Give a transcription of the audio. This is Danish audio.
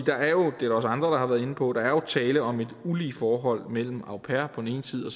det er der også andre der har været inde på at der er tale om et ulige forhold mellem en au pair på den ene side